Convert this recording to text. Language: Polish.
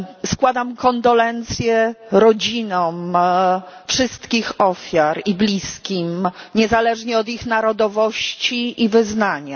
Składam kondolencje rodzinom wszystkich ofiar i bliskim, niezależnie od ich narodowości i wyznania.